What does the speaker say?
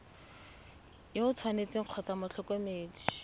yo o tshwanetseng kgotsa motlhokomedi